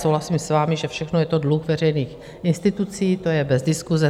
Souhlasím s vámi, že všechno je to dluh veřejných institucí, to je bez diskuse.